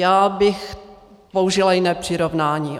Já bych použila jiné přirovnání.